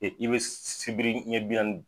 I bɛ sibiri ɲɛ bi naani.